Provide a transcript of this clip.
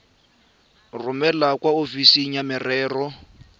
romele kwa ofising ya merero